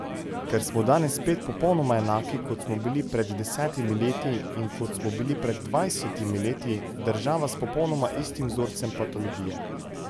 Ker smo danes spet popolnoma enaki, kot smo bili pred desetimi leti in kot smo bili pred dvajsetimi leti, država s popolnoma istim vzorcem patologije.